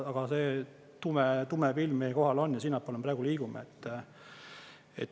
Aga see tume tume pilv meie kohal on ja sinnapoole me liigume.